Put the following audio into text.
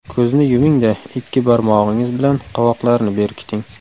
Ko‘zni yuming-da, ikki barmog‘ingiz bilan qovoqlarni berkiting.